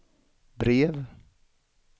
brev